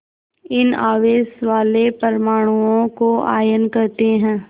इन आवेश वाले परमाणुओं को आयन कहते हैं